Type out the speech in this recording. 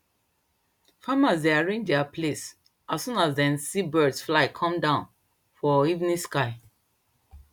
farmers dey arrange their place as soon as dem see birds fly come down for evening sky